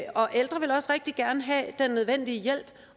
og ældre vil også rigtig gerne have den nødvendige hjælp